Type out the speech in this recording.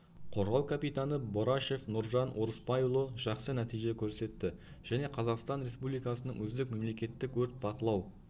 қорғау капитаны борашев нұржан орысбайұлы жақсы нәтиже көрсетті және қазақстан республикасының үздік мемлекеттік өрт бақылау